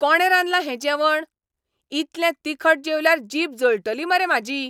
कोणें रांदलां हें जेवण? इतलें तिखट जेवल्यार जीब जळटली मरे म्हाजी.